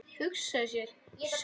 Hugsa sér, sögðu þau.